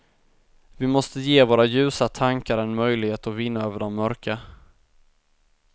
Vi måste ge våra ljusa tankar en möjlighet att vinna över de mörka.